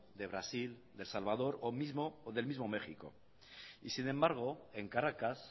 de brasil de el salvador o del mismo méxico y sin embargo en caracas